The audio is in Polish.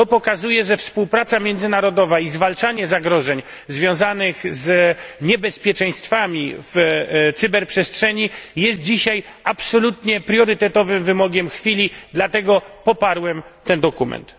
To pokazuje, że współpraca międzynarodowa i zwalczanie zagrożeń związanych z niebezpieczeństwami w cyberprzestrzeni jest dzisiaj absolutnie priorytetowym wymogiem chwili dlatego poparłem ten dokument.